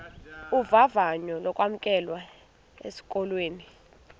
vavanyo lokwamkelwa esikolweni